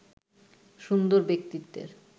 সুন্দর ব্যক্তিত্বের